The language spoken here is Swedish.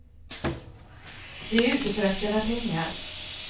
De är ute för att tjäna pengar.